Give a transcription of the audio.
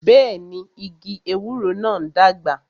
Bẹẹni, igi ewúro náà ń dàgbà